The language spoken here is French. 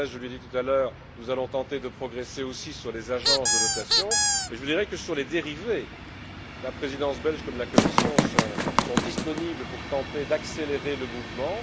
Gauzès, je lui ai dit tout à l'heure que nous allions tenter de progresser aussi sur les agences de notation, et je lui dirais que, sur les dérivés, la Présidence belge comme la Commission sont disponibles pour tenter d'accélérer le mouvement.